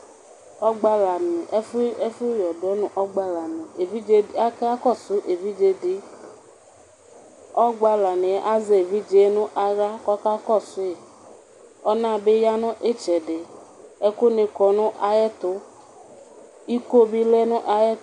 Ɔgbalani, ɛfʋyɔdɔ nʋ ɔgbalani, akakɔsʋ evidzedi, ɔgbalani yɛ azɛ evidze nʋ aɣla kʋ ɔkakɔsʋyi Ɔnabi yanʋ itsɛdi, ɛkʋni kɔnʋ ayʋ ɛtʋ, ikobi lɛnʋ ayʋ ɛtʋ